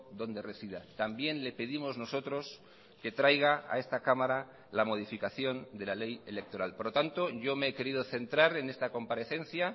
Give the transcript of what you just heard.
donde resida también le pedimos nosotros que traiga a esta cámara la modificación de la ley electoral por lo tanto yo me he querido centrar en esta comparecencia